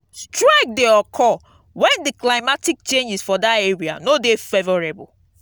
strike de occur when di climatic changes for that area no de favourable